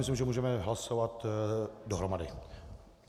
Myslím, že můžeme hlasovat dohromady.